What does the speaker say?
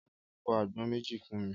Ọpẹ́ yóò fọ́ àgbọn méjì fún mi.